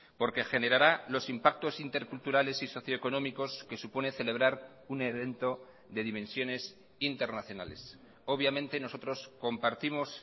porque generará los impactos interculturales y socioeconómicos que supone celebrar un evento de dimensiones internacionales obviamente nosotros compartimos